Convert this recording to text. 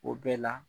O bɛɛ la